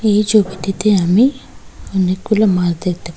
এই ছবিটিতে আমি অনেকগুলো মাছ দেখতে পা--